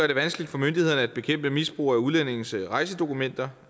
det vanskeligt for myndighederne at bekæmpe misbrug af udlændinges rejsedokumenter